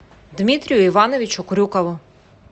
дмитрию ивановичу крюкову